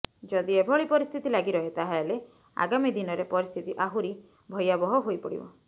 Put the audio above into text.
ଯଦି ଏଭଳି ପରିସ୍ଥିତି ଲାଗି ରହେ ତାହାଲେ ଆଗାମୀ ଦିନରେ ପରିସ୍ଥିତି ଆହୁରି ଭୟାବହ ହୋଇ ପଡ଼ିବ